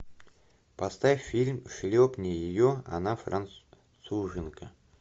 поставь фильм шлепни ее она француженка